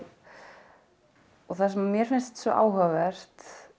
það sem mér finnst svo áhugavert